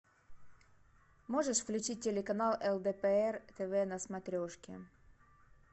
можешь включить телеканал лдпр тв на смотрешке